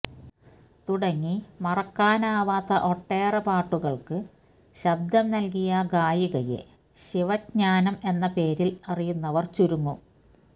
തുടങ്ങി മറക്കാനാവാത്ത ഒട്ടേറെ പാട്ടുകൾക്ക് ശബ്ദം നൽകിയ ഗായികയെ ശിവജ്ഞാനം എന്നപേരിൽ അറിയുന്നവർ ചുരുങ്ങും